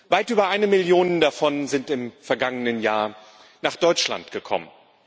Weit über eine Million davon sind im vergangenen Jahr nach Deutschland gekommen.